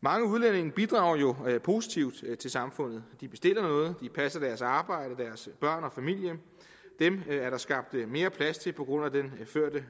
mange udlændinge bidrager jo positivt til samfundet de bestiller noget de passer deres arbejde deres børn og familie dem er der skabt mere plads til på grund af den førte